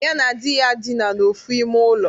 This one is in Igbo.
Ya na di ya dịna n'ofu ime ulo.